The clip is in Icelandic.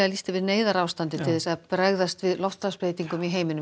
lýst yfir neyðarástandi til að bregðast við loftslagsbreytingum í heiminum